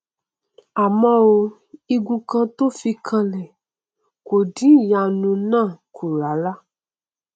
àmọ o igun kan tó fi kanlẹ kò dín ìyanu náà kù rárá